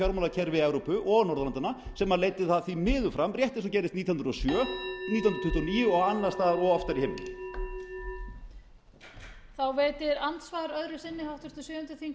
fjármálakerfi evrópu og norðurlandanna sem leiddi því miður fram rétt eins og gerðist nítján hundruð og sjö nítján hundruð tuttugu og níu og annars staðar og oftar í heimnum